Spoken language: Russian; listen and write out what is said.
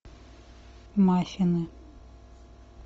маффины